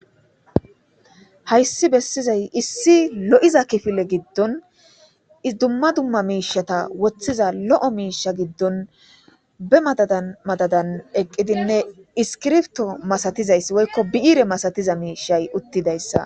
Hayssi bessizay issi lo'iza kifile giddon idumma dumma miishata woththiza lo'o miisha giddon be madadan madadan eqqidinne iskirfto masatizayss woykko bi'iire masatiza miishay uttidayssa.